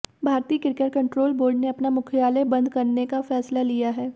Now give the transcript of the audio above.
भारतीय cricket control board ने अपना मुख्यालय बंद करने का फैसला लिया है